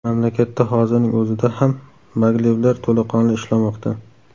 Mamlakatda hozirning o‘zida ham maglevlar to‘laqonli ishlamoqda.